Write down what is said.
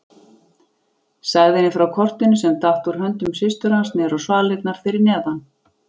Sagði henni frá kortinu sem datt úr höndum systur hans niður á svalirnar fyrir neðan.